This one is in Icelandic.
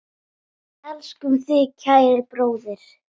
Við elskum þig, kæri bróðir.